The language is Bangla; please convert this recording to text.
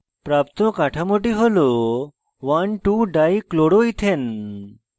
প্রাপ্ত কাঠামোটি হল 12dichloroethane